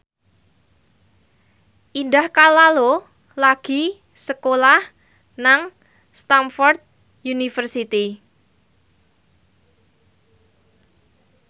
Indah Kalalo lagi sekolah nang Stamford University